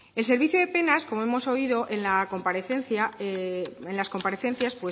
el servicio de penas como hemos oído en las comparecencias